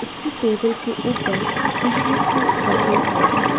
Table के ऊपर tissues भी रखे हुए हैं।